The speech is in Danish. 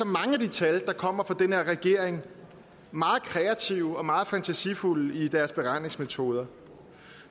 mange af de tal der kommer fra den her regering meget kreative og meget fantasifulde i deres beregningsmetoder